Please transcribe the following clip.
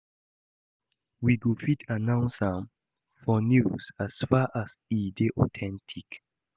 We go fit announce am for news as far as e dey authentic